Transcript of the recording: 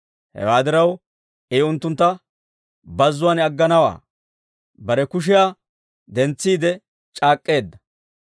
Hewaa diraw, I unttuntta bazzuwaan agganawaa, Bare kushiyaa dentsiide c'aak'k'eedda.